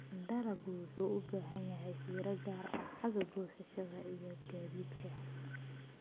Dalaggu wuxuu u baahan yahay fiiro gaar ah xagga goosashada iyo gaadiidka.